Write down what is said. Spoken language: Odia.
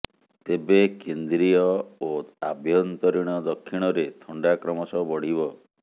ତେବେ କେନ୍ଦ୍ରୀୟ ଓ ଆଭ୍ୟନ୍ତରୀଣ ଦକ୍ଷିଣରେ ଥଣ୍ଡା କ୍ରମଶଃ ବଢ଼ିବ